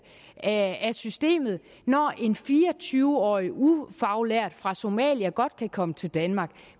af systemet når en fire og tyve årig ufaglært fra somalia godt kan komme til danmark